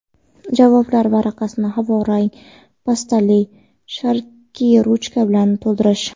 javoblar varaqasini havo rang pastali sharikli ruchka bilan to‘ldirish;.